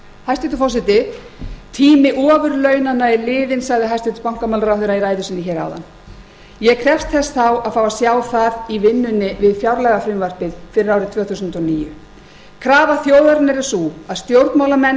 hæstvirtur forseti tími ofurlaunanna er liðinn sagði hæstvirtur bankamálaráðherra í ræðu sinni hér áðan ég krefst þess þá að fá að sjá það í vinnunni við fjárlagafrumvarpið fyrir árið tvö þúsund og níu krafa þjóðarinnar er sú að stjórnmálamenn